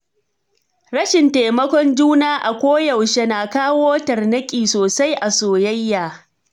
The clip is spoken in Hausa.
Rashin taimakon juna a koyaushe na kawo tarnaƙi sosai a soyayya.